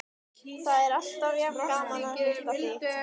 Það er alltaf jafn gaman að hitta þig.